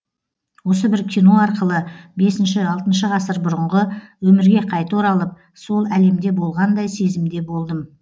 осы бір кино арқылы бесінші алтыншы ғасыр бұрынғы өмірге қайта оралып сол әлемде болғандай сезімде болдым